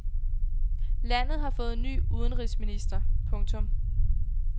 Landet har fået ny udenrigsminister. punktum